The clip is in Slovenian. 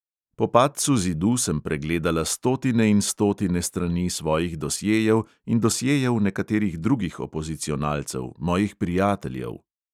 Po padcu zidu sem pregledala stotine in stotine strani svojih dosjejev in dosjejev nekaterih drugih opozicionalcev, mojih prijateljev.